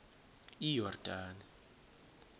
iyordane